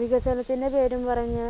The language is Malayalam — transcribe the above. വികസനത്തിന്റെ പേരും പറഞ്ഞ്